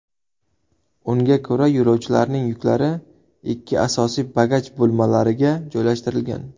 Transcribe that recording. Unga ko‘ra, yo‘lovchilarning yuklari ikki asosiy bagaj bo‘lmalariga joylashtirilgan.